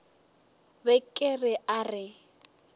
be ke re a re